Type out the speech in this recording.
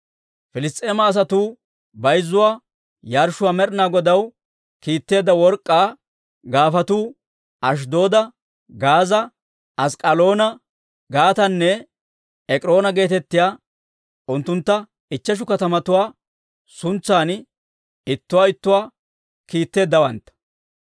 Piliss's'eema asatuu bayzzuwaa yarshshuwaa Med'inaa Godaw kiitteedda work'k'aa gaafatuu Ashddooda, Gaaza, Ask'k'aloona, Gaatanne Ek'iroona geetettiyaa unttuntta ichcheshu katamatuwaa suntsan ittuwaa ittuwaa kiitteeddawantta.